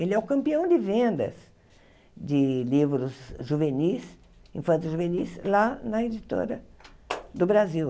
Ele é o campeão de vendas de livros juvenis, infanto-juvenis, lá na editora do Brasil.